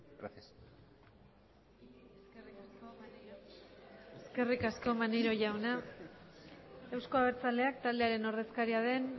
gracias eskerrik asko maneiro jauna eusko abertzaleak taldearen ordezkaria den